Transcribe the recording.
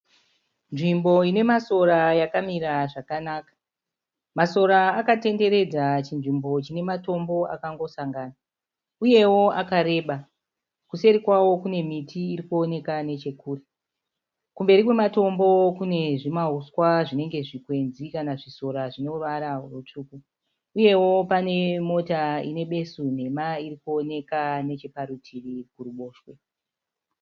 Nzvimbo ine masora yakamira zvakanaka. Masora akatenderedza chinzvimbo chine matombo akangosangana uyewo akareba. Kuseri kwawo kune miti iri kuoneka nechekure. Kumberi kwematombo kune zvimauswa zvinenge zvikwenzi kana zvisora zvine ruvara rutsvuku. Uyewo pane mota ine besu nhema iri kuonekwa necheparutivi kuruboshwe.